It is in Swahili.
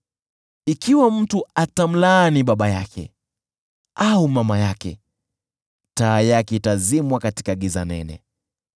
Ikiwa mtu atamlaani baba yake au mama yake, taa yake itazimwa katika giza nene.